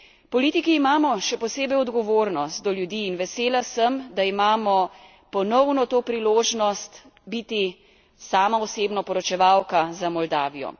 Politiki imamo še posebej odgovornost do ljudi in vesela sem, da imamo ponovno to priložnost biti, sama osebno, poročevalka za Moldavijo.